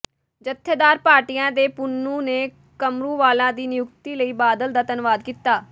ਜਥੇਦਾਰ ਭਾਟੀਆ ਤੇ ਪੰਨੂੰ ਨੇ ਕਰਮੂਵਾਲਾ ਦੀ ਨਿਯੁਕਤੀ ਲਈ ਬਾਦਲ ਦਾ ਧੰਨਵਾਦ ਕੀਤਾ